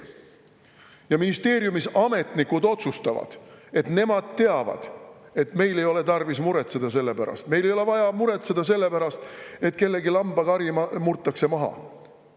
Ja ministeeriumis ametnikud otsustavad, et nemad teavad, et meil ei ole tarvis muretseda, meil ei ole vaja muretseda selle pärast, et kellegi lambakari murtakse maha.